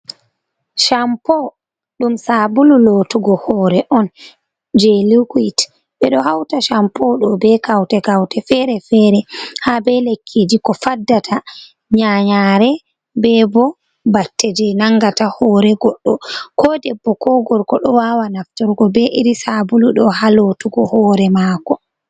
Shampo ɗum sabulu lotugo hoore on jei liquid, ɓe ɗo hauta shampo ɗo be kaute kaute fere-fere, haa be lekkiji ko faddata nyanyaare, be bo batte jei nangata hore goɗɗo, ko debbo ko gorgo ɗo wawa naftorgo be iri sabulu ɗo ha lotugo hore maako.